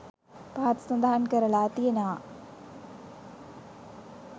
පහත සඳහන් කරලා තියෙනවා.